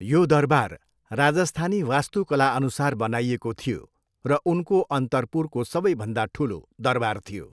यो दरबार राजस्थानी वास्तुकलाअनुसार बनाइएको थियो र उनको अन्तर्पुरको सबैभन्दा ठुलो दरबार थियो।